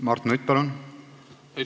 Mart Nutt, palun!